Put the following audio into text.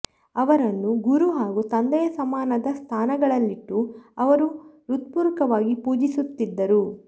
ಅವರನ್ನು ಗುರು ಹಾಗೂ ತಂದೆಯ ಸಮಾನದ ಸ್ಥಾನಗಳಲ್ಲಿಟ್ಟು ಅವರು ಹೃತ್ಪೂರ್ವಕವಾಗಿ ಪೂಜಿಸುತ್ತಿದ್ದರು